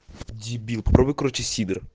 дебил пробы короче